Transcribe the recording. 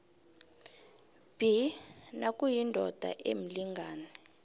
b nakuyindoda emlingani